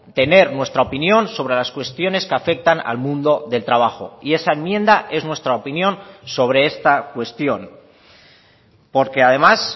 tener nuestra opinión sobre las cuestiones que afectan al mundo del trabajo y esa enmienda es nuestra opinión sobre esta cuestión porque además